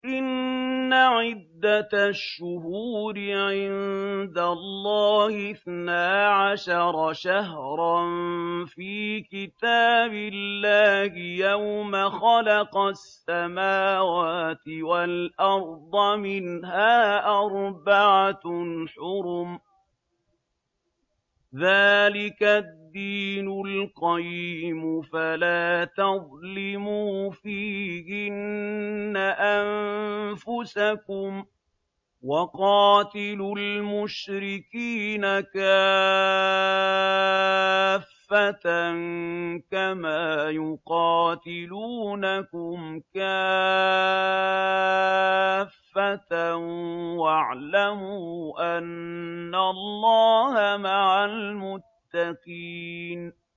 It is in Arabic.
إِنَّ عِدَّةَ الشُّهُورِ عِندَ اللَّهِ اثْنَا عَشَرَ شَهْرًا فِي كِتَابِ اللَّهِ يَوْمَ خَلَقَ السَّمَاوَاتِ وَالْأَرْضَ مِنْهَا أَرْبَعَةٌ حُرُمٌ ۚ ذَٰلِكَ الدِّينُ الْقَيِّمُ ۚ فَلَا تَظْلِمُوا فِيهِنَّ أَنفُسَكُمْ ۚ وَقَاتِلُوا الْمُشْرِكِينَ كَافَّةً كَمَا يُقَاتِلُونَكُمْ كَافَّةً ۚ وَاعْلَمُوا أَنَّ اللَّهَ مَعَ الْمُتَّقِينَ